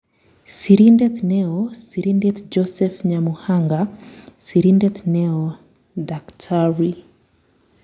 Sirindet neoo Sirindet Joseph Nyamuhanga. Sirindet neoo-Dkt